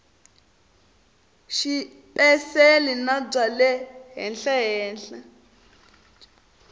xipeceli na bya le henhlahenhla